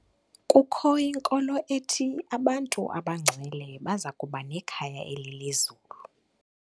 Kukho inkolo ethi abantu abangcwele baza kuba nekhaya elilizulu.